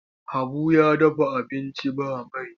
Habu ya dafa abinci ba mai.